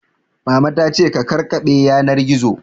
Mama ta ce ka kakkaɓe yanar gizo